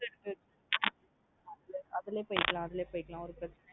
அதுலே போய்க்கலாம் அதுலே போய்க்கலாம் ஒரு பிரச்சனும் இல்ல.